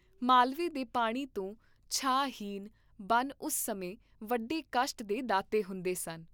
ਮਾਲਵੇ ਦੇ ਪਾਣੀ ਤੋਂ ਛਾਂ ਹੀਨ ਬਨ ਉਸ ਸਮੇਂ ਵੱਡੇ ਕਸ਼ਟ ਦੇ ਦਾਤੇ ਹੁੰਦੇ ਸਨ।